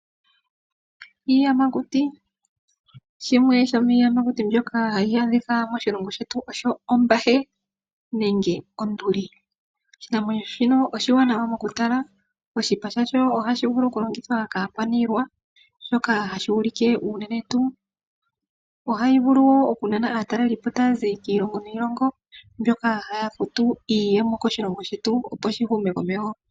Iiyamakuti, shimwe shomiyamakuti mbyoka hayi adhikwa moshilongo shetu osho ombahe nenge onduli. Oshinamwenyo shino oshiwanawa mokutala, oshipa shasho ohashi vulu okulongithwa kaakwanilwa oshoka ohashi ulike unenentu, ohayi vulu wo okunana aatalelipo taya zi kiilongo niilongo mboka haya futu iiyemo koshilongo shetu opo shi hume komeho.